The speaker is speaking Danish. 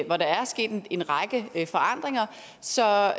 hvor der er sket en en række forandringer så